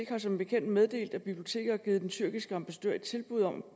har som bekendt meddelt at biblioteket har givet den tyrkiske ambassadør et tilbud om at